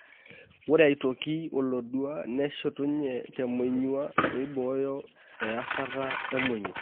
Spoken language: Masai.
Ore aitoki olodua neshetunye temonyua, neibooyo easata emonyua.